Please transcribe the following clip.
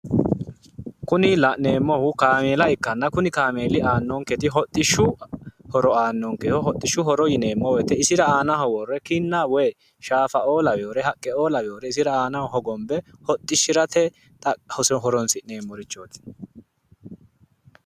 Kuni la'neemmohu kaameela ikkanna, kuni kaameeli aannonketi hodhishshu horo aannonkeho hodhishshu hor yineemmo woyiite isira aanho worre kinna woy shaafaoo laweyoore haqqeoo laweyoore isira aanaho hogonbe hodhishirate horonsi'neemmorichooti.